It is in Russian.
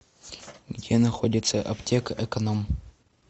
где находится аптека экономъ